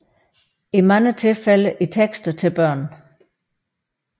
I mange tilfælde i tekster til børn